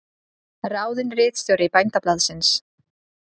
Ráðinn ritstjóri Bændablaðsins